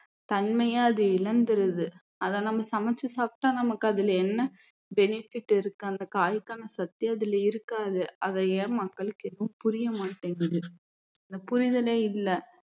தன்மைய அது இழந்திருது அதை நம்ம சமைச்சு சாப்பிட்டா நமக்கு அதுல என்ன benefit இருக்கு அந்த காய்க்கான சத்தே அதுல இருக்காது அது ஏன் மக்களுக்கு எதும் புரிய மாட்டேங்குது அந்த புரிதலே இல்ல